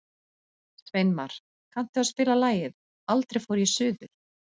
Sveinmar, kanntu að spila lagið „Aldrei fór ég suður“?